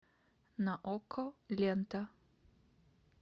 на окко лента